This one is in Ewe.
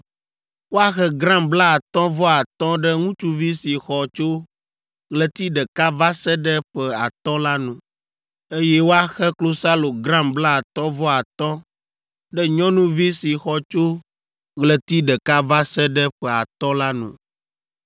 Woaxe gram blaatɔ̃ vɔ atɔ̃ ɖe ŋutsuvi si xɔ tso ɣleti ɖeka va se ɖe ƒe atɔ̃ la nu, eye woaxe klosalo gram blaetɔ̃ vɔ atɔ̃ ɖe nyɔnuvi si xɔ tso ɣleti ɖeka va se ɖe ƒe atɔ̃ la nu.